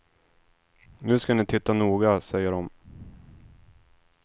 Nu ska ni titta noga, säger de.